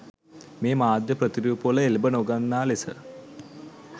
මේ මාධ්‍ය ප්‍රතිරූපවල එල්බ නො ගන්නා ලෙස